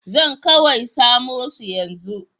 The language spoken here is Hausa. Zan kawai samo su yanzu.